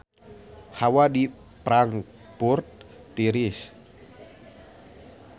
Hawa di Frankfurt tiris